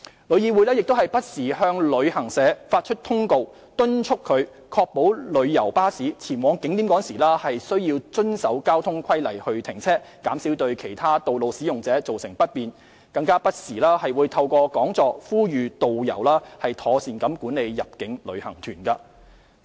旅議會亦不時向旅行社發出通告，敦促其確保旅遊巴士前往景點時須遵守交通規例停車，減少對其他道路使用者造成不便，更不時透過講座呼籲導遊妥善管理入境旅行團。